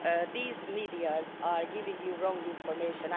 These media are giving you wrong information.